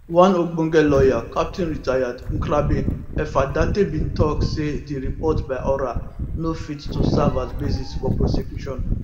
one ogbonge lawyer captain rtd nkrabea effah darteybin tok say di report by oral no fit to serve as basis for prosecution